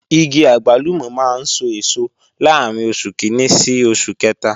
Igi àgbálùmọ̀ máa ń sọ èso láàrín oṣù kìíní sí oṣù kẹta